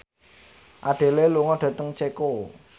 Adele lunga dhateng Ceko